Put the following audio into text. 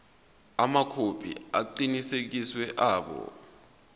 amakhophi aqinisekisiwe abo